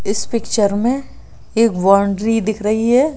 इस पिक्चर में एक बाउंड्री दिख रही है।